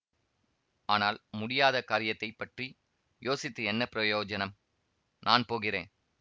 ஆனால் முடியாத காரியத்தைப் பற்றி யோசித்து என்ன பிரயோஜனம் நான் போகிறேன்